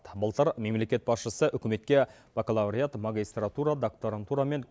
былтыр мемлекет басшысы үкіметке бакалавриат магистратура докторантура мен